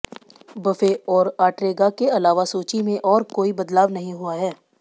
buffet और Ortega के अलावा सूची में और कोई बदलाव नहीं हुआ है